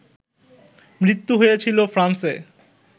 মৃত্যু হয়েছিল ফ্রান্সে